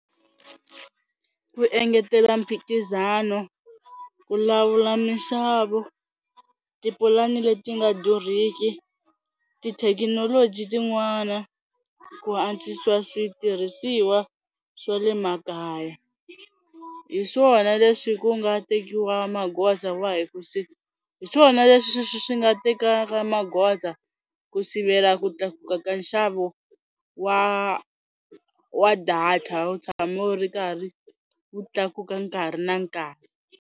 Ku engetela mphikizano, ku lawula mixavo, tipulani leti nga durhiki, tithekinoloji tin'wana, ku antswisiwa switirhisiwa swa le makaya. Hi swona leswi ku nga tekiwa magoza wahi, hi swona leswi swi nga tekaka magoza ku sivela ku tlakuka ka nxavo wa wa data wu tshama wu ri karhi wu tlakuka nkarhi na nkarhi.